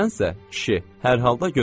Sənsə, kişi, hər halda gözləmə.